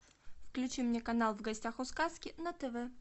включи мне канал в гостях у сказки на тв